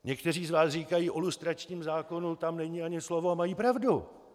Někteří z vás říkají "o lustračním zákonu tam není ani slovo" a mají pravdu.